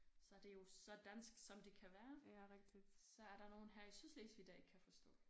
Så det jo så dansk som det kan være så er der nogle her i Sydslesvig der ikke kan forstå